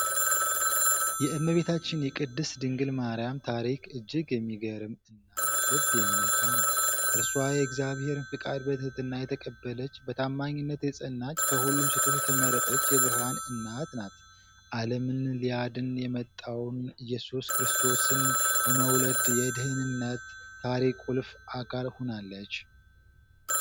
የእመቤታችን የቅድስት ድንግል ማርያም ታሪክ እጅግ የሚገርም እና ልብ የሚነካ ነው። እርሷ የእግዚአብሔርን ፈቃድ በትህትና የተቀበለች፣ በታማኝነት የጸናች፣ ከሁሉ ሴቶች የተመረጠች የብርሃን እናት ናት። ዓለምን ሊያድን የመጣውን ኢየሱስ ክርስቶስን በመውለድ የድኅነት ታሪክ ቁልፍ አካል ሆናለች።